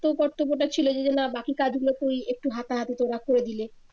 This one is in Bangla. কর্তব্যটা ছিলো যে না বাকি কাজ গুলোতেও একটু হাতাহাতি তোরা করে দিলি